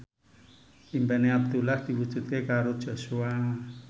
impine Abdullah diwujudke karo Joshua